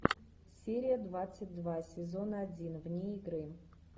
серия двадцать два сезон один вне игры